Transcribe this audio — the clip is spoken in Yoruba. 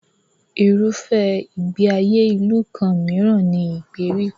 Irúfẹ́ ìgbé ayé ìlú kan mìíràn ni ìgbèríko.